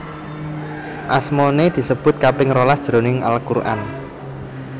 Asmané disebut kaping rolas jroning Al Quran